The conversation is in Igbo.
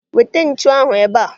Weta ntu ahụ ebe a!